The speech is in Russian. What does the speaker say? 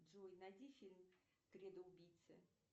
джой найди фильм кредо убийцы